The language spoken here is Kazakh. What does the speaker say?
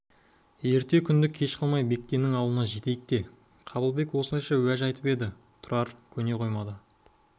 ерте күнді кеш қылмай бектеннің ауылына жетейік те қабылбек осылайша уәж айтып еді тұрар көне қоймады